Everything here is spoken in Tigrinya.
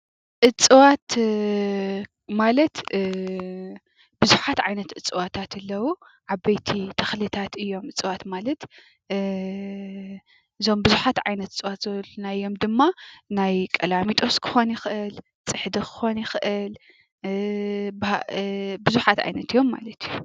እፅዋት ማለት ብዙሓት ዓይነት እፅዋታት ኣለው:: ዓበይት ተክልታት እዮም:: እፀዋት ማለት እዞም ቡዝሓት ዓይነት እፀዋት ዝበልናዮም ድማ ናይ ቀላሚጦስ ክከውን ይክእል ፅሕዲ ክኮን ይክእል ብዙሓት ዓይነት እዮም ማለት እዩ።